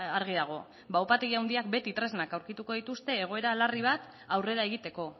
argi dago ba upategi handiak beti tresnak aurkituko dituzte egoera larri bat aurrera egiteko